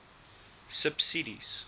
subsidies